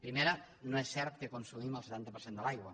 primera no és cert que consumim el setanta per cent de l’aigua